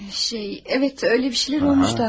Şey, bəli, elə şeylər olmuşdu qardaş.